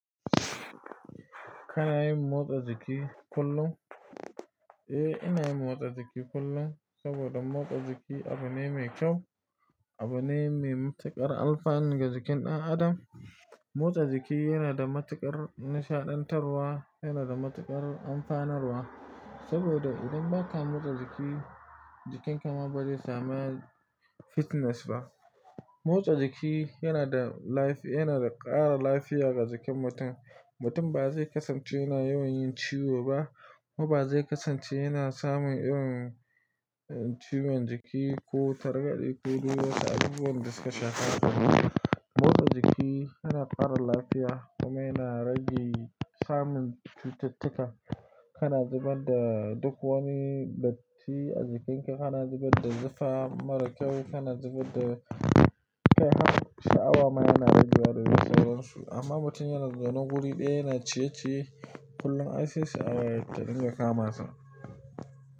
Kana yin motsa jiki kullum? Eh, ina yin motsa jiki kullum, saboda motsa jiki abu ne mai kyau, abu ne mai matukar alfanu ga jikin ɗan adam. Motsa jiki yana da matukar nishaɗantarwa, yana da matukar amfanarwa saboda idan baka motsa jiki, jikinka ma ba zai sama fitness ba. Motsa jiki yana da lafi yana da ƙara lafiya ga jikin mutum. Mutum ba zai kasance yana yawan yin ciwo ba kuma ba zai kasance yana samun irin ciwon jiki ko targade ko duk wasu abubuwan da suka shafa haka. Motsa jiki yana ƙara lafiya kuma yana rage samun cututtuka. Kana zubar da duk wani datti a jikinka, kana zubar da zufa mara kyau, kana zubar da kai har sha'awa ma yana ragewa da sauransu, amma mutum yana zaune wuri ɗaya yana ciye-ciye kullum ai sai sha'awa ta dinga kama sa.